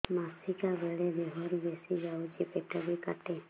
ମାସିକା ବେଳେ ଦିହରୁ ବେଶି ଯାଉଛି ପେଟ ବି କାଟେ